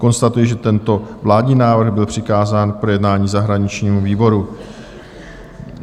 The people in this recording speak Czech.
Konstatuji, že tento vládní návrh byl přikázán k projednání zahraničnímu výboru.